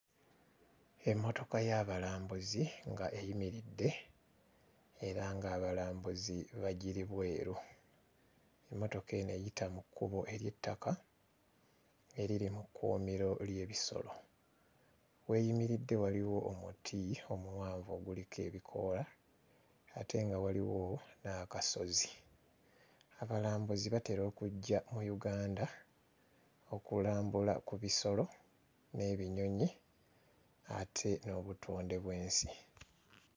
Emmotoka y'abalambuzi nga eyimiridde era ng'abalambuzi bagiri bweru, emmotoka eno eyita mu kkubo ery'ettaka eriri mu kkuumiro ly'ebisolo, w'eyimiridde waliwo omuti omuwanvu oguliko ebikoola ate nga waliwo n'akasozi. Abalambuzi batera okujja mu Uganda okulambula ebisolo n'ebinyonyi ate n'obutonde bw'ensi.